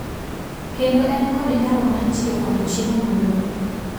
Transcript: kendo en kod nyalo mar tiyo kod chiemo modong.